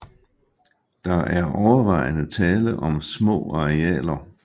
Der er overvejende tale om små arealer